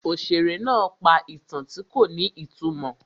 Òṣèré náà pa ìtàn tí kò ní ìtumọ̀.